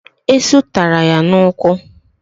Esụ taara ya n'ụkwụ